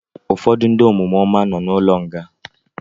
Ụfọdụ ndị omume ọma nọ na ụlọ nga